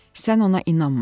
Sən ona inanma.